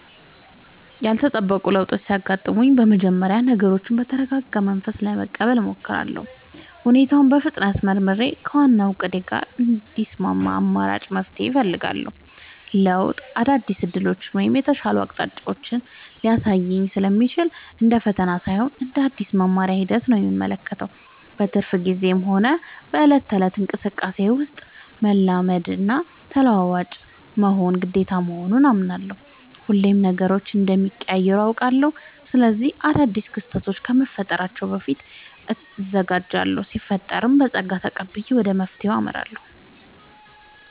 ያልተጠበቁ ለውጦች ሲያጋጥሙኝ በመጀመሪያ ነገሮችን በተረጋጋ መንፈስ ለመቀበል እሞክራለሁ። ሁኔታውን በፍጥነት መርምሬ፣ ከዋናው እቅዴ ጋር የሚስማማ አማራጭ መፍትሄ እፈልጋለሁ። ለውጥ አዳዲስ ዕድሎችን ወይም የተሻሉ አቅጣጫዎችን ሊያሳይ ስለሚችል፣ እንደ ፈተና ሳይሆን እንደ አዲስ የመማሪያ ሂደት ነው የምመለከተው። በትርፍ ጊዜዬም ሆነ በዕለት ተዕለት እንቅስቃሴዬ ውስጥ፣ መላመድና ተለዋዋጭ መሆን ግዴታ መሆኑን አምናለሁ። ሁሌም ነገሮች እንደሚቀያየሩ አውቃለሁ። ስለዚህ አዳዲስ ክስተቶች ከመፈጠራቸው በፊት እዘጋጃለሁ ሲፈጠርም በፀጋ ተቀብዬ ወደ መፍትሄው አመራለሁ።